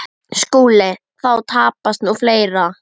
SKÚLI: Þá tapast nú fleira.